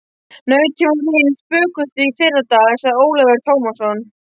Nautin voru hin spökustu í fyrradag, sagði Ólafur Tómasson.